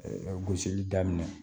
Gosili daminɛ